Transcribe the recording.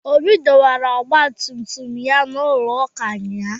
Obi dọwara ọgba tum tum ya n'ulo ụka ụnyahụ.